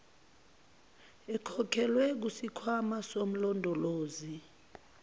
ekhokhelwe kusikhwama somlondolozi